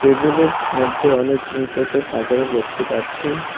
মধ্যে অনেক জিনিসপত্র সাজানো দেখতে পাচ্ছি।